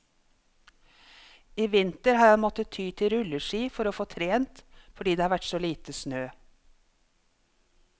I vinter har han måttet ty til rulleski for å få trent, fordi det har vært så lite snø.